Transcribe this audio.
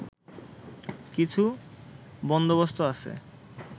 কিছু বন্দোবস্ত আছে